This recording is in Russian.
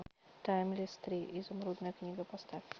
таймлесс три изумрудная книга поставь